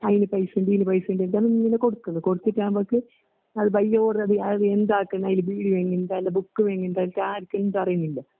കൈല്പൈസയുണ്ട് എന്റെയില്പൈസയുണ്ട് ഇതങ്ങനെ കൊടുക്കണ് കൊടുത്തിട്ടാമ്പക്ക് അത്ബൈയോട്തടി അതെന്താക്കണ അതില്ബീഡിയോയുംയെന്താണ്ട് ബുക്ക് വിങ്ങിന്റെ സ്റ്റാർത്തിങ് തറയുവില്ല.